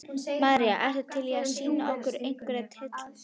María: Ertu til í að sýna okkur einhverja titla?